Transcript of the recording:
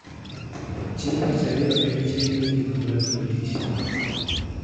Chieng' tich ariyo en chieng' mogik mar timo tich